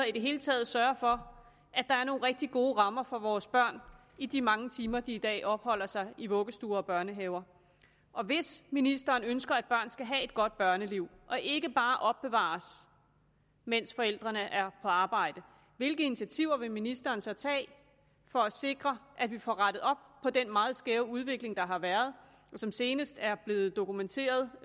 i det hele taget sørge for at der er nogle rigtig gode rammer for vores børn i de mange timer de i dag opholder sig i vuggestuer og børnehaver hvis ministeren ønsker at børn skal have et godt børneliv og ikke bare opbevares mens forældrene er på arbejde hvilke initiativer vil ministeren så tage for at sikre at vi får rettet op på den meget skæve udvikling der har været og som senest er blevet dokumenteret